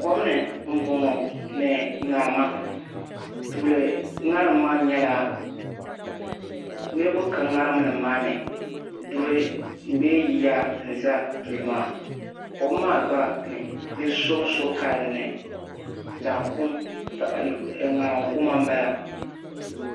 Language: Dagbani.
Kom ni m boŋɔ ni ŋarima tuuli ŋarim maa nyɛla niriba ka ŋarim nima maa ni duri bee yiya n za duli maa kom maa gba ni so so ka dinni ŋarim kuma m bala.